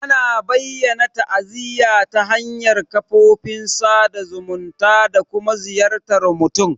Ana bayyana ta'aziyya ta hanyar kafofin sada zumunta da kuma ziyartar mutum.